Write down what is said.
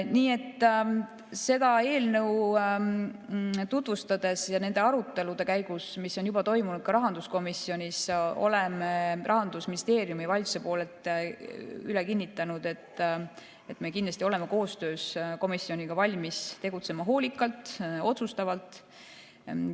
Nii et seda eelnõu tutvustades ja nende arutelude käigus, mis on juba toimunud ka rahanduskomisjonis, oleme Rahandusministeeriumi ja valitsuse poolelt üle kinnitanud, et me kindlasti oleme koostöös komisjoniga valmis tegutsema hoolikalt ja otsustavalt.